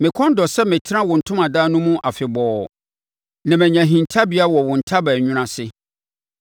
Me kɔn dɔ sɛ metena wo ntomadan no mu afebɔɔ na manya hintabea wɔ wo ntaban nwunu ase.